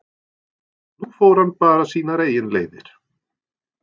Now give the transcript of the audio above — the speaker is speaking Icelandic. Nú fór hann bara sínar eigin leiðir.